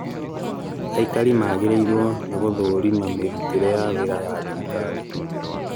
aikari magĩrĩirwo nĩgũthũrima mĩrutĩre ya wĩra ya thirikari